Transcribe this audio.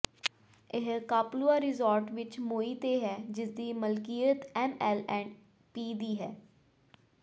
ਇਹ Kapalua resort ਵਿੱਚ Maui ਤੇ ਹੈ ਜਿਸਦੀ ਮਲਕੀਅਤ ਐਮ ਐਲ ਐਂਡ ਪੀ ਦੀ ਹੈ